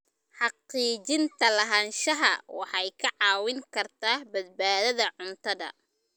Xaqiijinta lahaanshaha waxay kaa caawin kartaa badbaadada cuntada.